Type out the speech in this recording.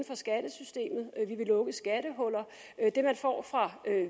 for skattesystemet og vi vil lukke skattehuller det man får fra